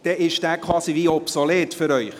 Somit ist dieser Artikel quasi obsolet für Sie.